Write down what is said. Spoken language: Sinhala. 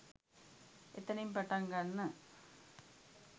එතනින් පටන් ගන්න